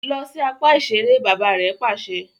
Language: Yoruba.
Lọ si apá iṣere! bàbà rè pàṣẹ